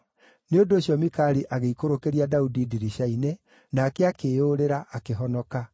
Nĩ ũndũ ũcio Mikali agĩikũrũkĩria Daudi ndirica-inĩ, nake akĩĩyũrĩra, akĩhonoka.